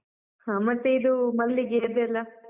ಹಾ ಮತ್ತೆ ಇದು ಮಲ್ಲಿಗೆ ಅದೆಲ್ಲ?